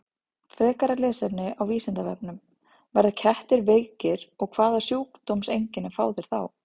Frekara lesefni á Vísindavefnum: Verða kettir veikir og hvaða sjúkdómseinkenni fá þeir þá?